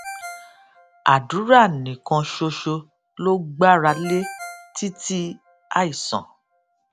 àdúrà nìkan ṣoṣo ló gbára lé títí àìsàn